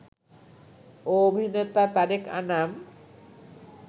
ও অভিনেতা তারেক আনাম